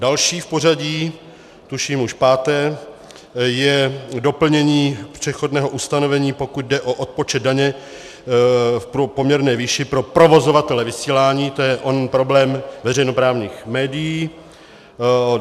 Další v pořadí, tuším už páté, je doplnění přechodného ustanovení, pokud jde o odpočet daně v poměrné výši pro provozovatele vysílání, to je onen problém veřejnoprávních médií.